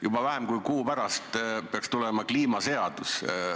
Juba vähem kui kuu pärast peaks tulema kliimaseadus.